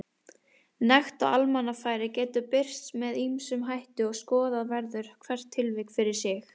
Nekt á almannafæri getur birst með ýmsum hætti og skoða verður hvert tilvik fyrir sig.